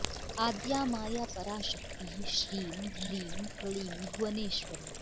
आद्या माया परा शक्तिः श्रीं ह्रीं क्लीं भुवनेश्वरी